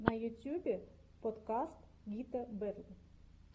на ютьюбе подкаст гита бэтл